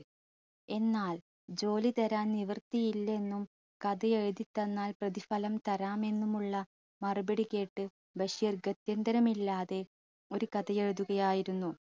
എന്നാൽ ജോലി തരാൻ നിവൃത്തിയില്ലെന്നും കഥ എഴുതിത്തന്നാൽ പ്രതിഫലം തരാം എന്നുമുള്ള മറുപടി കേട്ട് ബഷീർ ഗത്ത്യന്തരമില്ലാതെ ഒരു കഥ എഴുതുകയായിരുന്നു